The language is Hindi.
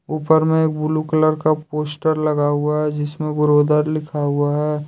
ऊपर मे एक ब्लू कलर का पोस्टर लगा हुआ है जिसमे ब्रोदर लिखा हुआ है।